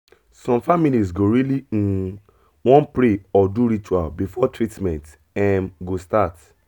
some families go really um wan pray or do ritual before treatment um go start